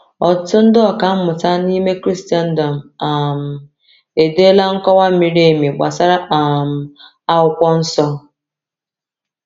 Ọtụtụ ndị ọkà mmụta n’ime Kraịstndọm um edeela nkọwa miri emi gbasara um Akwụkwọ Nsọ.